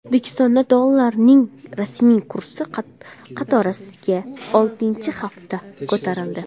O‘zbekistonda dollarning rasmiy kursi qatorasiga oltinchi hafta ko‘tarildi.